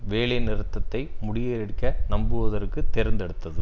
வேலை நிறுத்தத்தை முறியடிக்க நம்புவதற்கு தேர்ந்தெடுத்தது